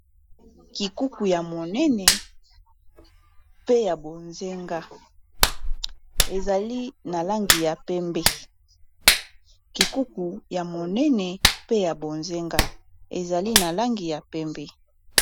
kabati ya monene pe ya bonzinga ezali na langi ya pembe